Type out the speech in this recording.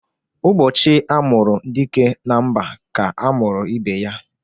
Ụbọchị a mụrụ dike na mba ka a mụrụ ibe ya